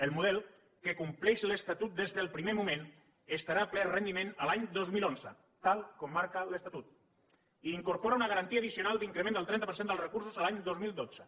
el model que compleix l’estatut des del primer moment estarà a ple rendiment l’any dos mil onze tal com marca l’estatut i incorpora una garantia addicional d’increment del trenta per cent dels recursos l’any dos mil dotze